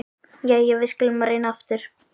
Jæja, við skulum reyna aftur.